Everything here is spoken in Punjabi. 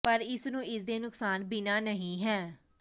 ਪਰ ਇਸ ਨੂੰ ਇਸ ਦੇ ਨੁਕਸਾਨ ਬਿਨਾ ਨਹੀ ਹੈ